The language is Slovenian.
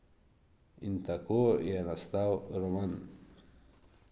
In tako je nastal roman.